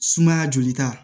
Sumaya jolita